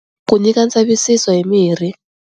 Ku nyika ntsevisiso hi mirhi.